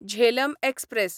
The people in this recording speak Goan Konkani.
झेलम एक्सप्रॅस